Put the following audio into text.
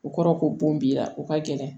O kɔrɔ ko bon b'i la o ka gɛlɛn